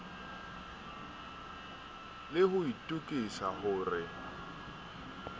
le ho itokisa ho re